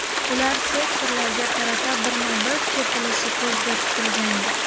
Ular sektorlarga qarata birma-bir tepilishi ko‘zda tutilgandi.